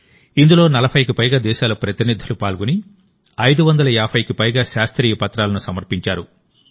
ఇందులో 40కి పైగా దేశాల ప్రతినిధులు పాల్గొని 550కి పైగా శాస్త్రీయ పత్రాలను సమర్పించారు